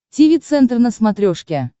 тиви центр на смотрешке